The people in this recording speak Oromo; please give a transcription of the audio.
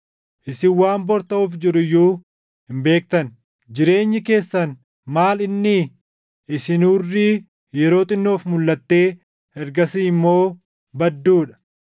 Isin waan bor taʼuuf jiru iyyuu hin beektan. Jireenyi keessan maal innii? Isin hurrii yeroo xinnoof mulʼattee ergasii immoo badduu dha.